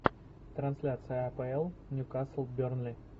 трансляция апл ньюкасл бернли